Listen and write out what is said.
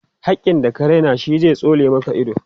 hakkin da ka Raina shi zai tsole Maka ido